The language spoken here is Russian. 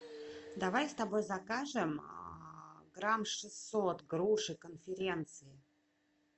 давай с тобой закажем грамм шестьсот груши конференция